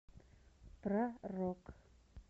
про рок